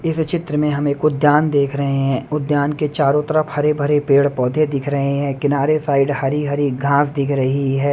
इस चित्र में हम एक उद्यान देख रहे हैं उद्यान के चारों तरफ हरे-भरे पेड़-पौधे दिख रहे हैं किनारे साइड हरी-हरी घास दिख रही है।